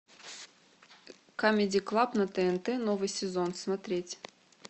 камеди клаб на тнт новый сезон смотреть